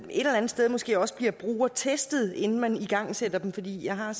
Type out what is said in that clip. eller andet sted måske også bliver brugertestet inden man igangsætter dem fordi jeg har